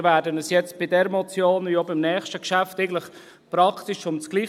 Es geht bei dieser Motion wie auch beim nächsten Geschäft eigentlich praktisch ums Gleiche.